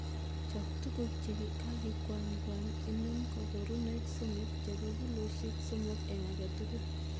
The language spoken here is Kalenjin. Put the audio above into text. Chob tuguk che kakikwanykwany, inam koborunoik somok chebo kilosiek somok en agetugul.